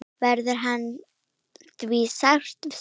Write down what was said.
Verður hans því sárt saknað.